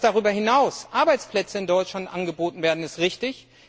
Dass darüber hinaus Arbeitsplätze in Deutschland angeboten werden, ist richtig.